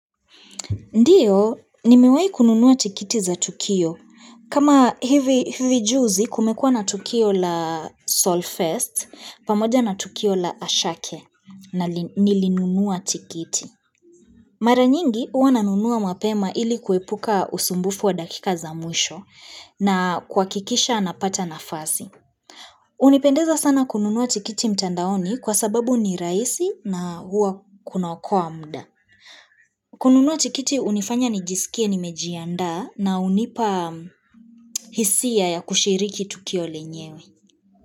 Ndiyo, nimewahi kununua tikiti za Tukio. Kama hivi juzi kumekua na Tukio la Solfest, pamoja na Tukio la Ashake na nilinunua tikiti. Mara nyingi, huwa nanunua mapema ili kuepuka usumbufu wa dakika za mwisho na kuhakikisha anapata nafasi. Hunipendeza sana kununua tikiti mtandaoni kwa sababu ni rahisi na huwa kunaokoa muda. Kununua tikiti hunifanya nijisikie nimejiandaa na hunipa hisia ya kushiriki tukio lenyewe.